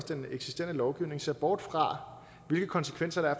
til den eksisterende lovgivning ser bort fra hvilke konsekvenser der